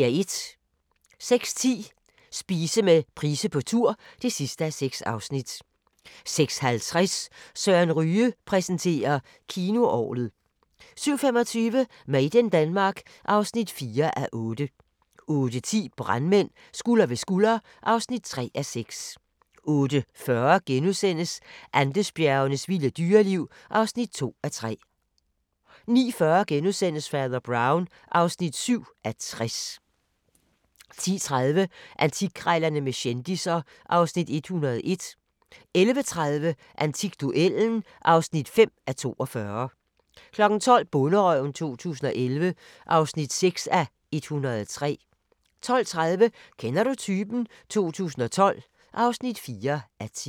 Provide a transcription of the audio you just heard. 06:10: Spise med Price på tur (6:6) 06:50: Søren Ryge præsenterer: Kinoorglet 07:25: Made in Denmark (4:8) 08:10: Brandmænd – skulder ved skulder (3:6) 08:40: Andesbjergenes vilde dyreliv (2:3)* 09:40: Fader Brown (7:60)* 10:30: Antikkrejlerne med kendisser (Afs. 101) 11:30: Antikduellen (5:42) 12:00: Bonderøven 2011 (6:103) 12:30: Kender du typen? 2012 (4:10)